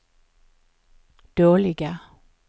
dåliga